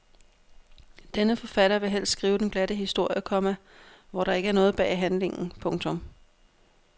Denne forfatter vil helst skrive den glatte historie, komma hvor der ikke er noget bag handlingen. punktum